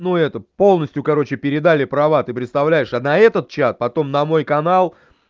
ну это полностью короче передали права ты представляешь а на этот чат потом на мой канал